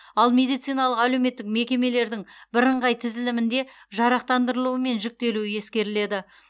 ал медициналық әлеуметтік мекемелердің бірыңғай тізілімінде жарақтандырылуы мен жүктелуі ескеріледі